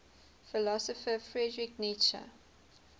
philosopher friedrich nietzsche